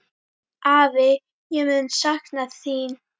Afi, ég mun sakna þín.